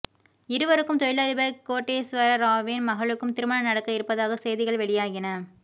இவருக்கும் தொழிலதிபர் கோட்டேஸ்வர ராவின் மகளுக்கும் திருமணம் நடக்க இருப்பதாக செய்திகள் வெளியாகின